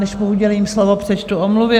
Než mu udělím slovo, přečtu omluvy.